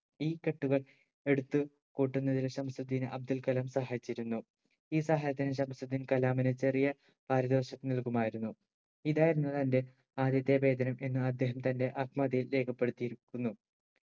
ഈ കെട്ടുകൾ എടുത്ത് കൂട്ടുന്നതിന് ശംസുദിന് അബ്ദുൽകലാം സഹായിച്ചിരുന്നു ഈ സഹായത്തിന് ശംസുദിന് കലാമിന് ചെറിയ പാരുദോശം നൽകുമായിരുന്നു ഇതായിരുന്നു തന്റെ ആദ്യത്തെ വേതനം എന്ന് അദ്ദേഹം തന്റെ ആത്മകഥയിൽ രേഖപ്പെടുത്തിയിരിക്കുന്നു